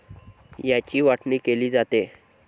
याची वाटणी केली जाते.